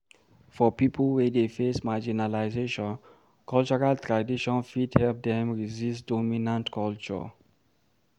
For pipo wey dey face marginalization, cultural tradition fit help dem resist dominant culture